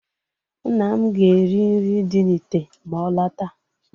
Nna m ga-eri nri dị na ìtè ma ọ lọta.